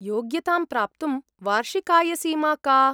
योग्यतां प्राप्तुं वार्षिकायसीमा का?